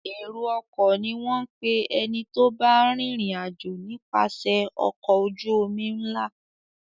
Èrò-ọkọ̀ ni wọ́n ń pè ẹni tó bá ń rìnrìn-àjò nipase ọkọ̀ ojú-omi ńlá.